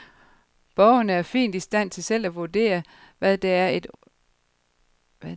Borgerne er fint i stand til selv at vurdere, hvad der er et urimeligt.